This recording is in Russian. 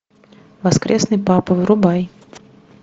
воскресный папа врубай